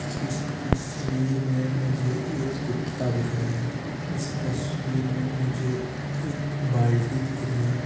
इस तस्वीर में मुझे एक कुत्ता दिख रहा है इस तस्वीर में मुझे एक बाल्टी दिख रही है।